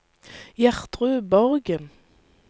Gjertrud Borgen